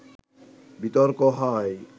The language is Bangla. বিতর্ক হয়